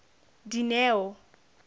dineo